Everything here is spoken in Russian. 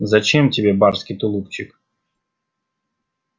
зачем тебе барский тулупчик